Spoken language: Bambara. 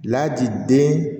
Ladi den